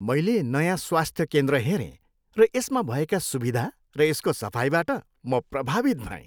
मैले नयाँ स्वास्थ्य केन्द्र हेरेँ र यसमा भएका सुविधा र यसको सफाइबाट म प्रभावित भएँ।